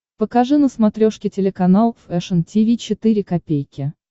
покажи на смотрешке телеканал фэшн ти ви четыре ка